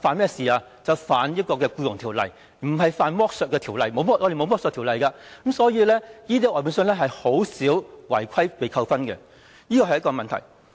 便是觸犯《僱傭條例》，不是犯剝削條例，我們沒有剝削條例，所以這些外判商很少因為違規而被扣分，這是一個問題。